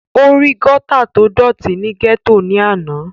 ó rí gọ́tà tó dọ̀tí ní gẹ́tò ní àná